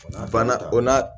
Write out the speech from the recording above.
Banna o n'a